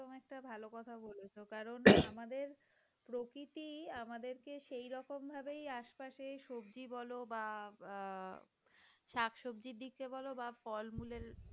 একটা ভালো কথা বলেছেন কারণ আমাদের প্রকৃতি আমাদেরকে সেই রকম ভাবেই আশেপাশে সবজি বল বা আহ শাকসবজি দিকে বল বা ফলমূলের